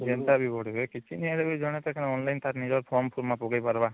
ଯେନ୍ତା ବି ବଢିବେ କିଛି ନାଇଁ ହେଲେ ଜଣେ ତକ online ତାର ନିଜର form ତ ପକେଇ ପାରିବା